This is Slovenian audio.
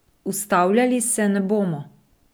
Ustavljali se ne bomo.